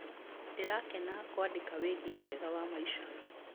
Ndĩrakena kũandĩka wĩgiĩ wega wa maica.